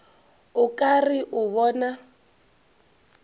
o ka re o bona